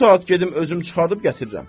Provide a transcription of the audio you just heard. Bu saat gedim özüm çıxarıb gətirirəm.